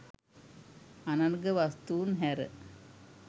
අනර්ඝ වස්තූන් හැර